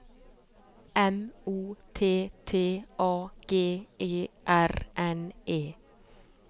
M O T T A G E R N E